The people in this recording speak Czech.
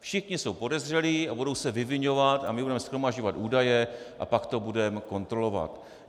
Všichni jsou podezřelí a budou se vyviňovat a my budeme shromažďovat údaje a pak to budeme kontrolovat.